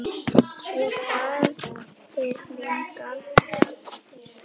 Svo faðir minn gaf eftir!